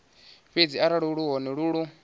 fhedzi arali luvhone lu lu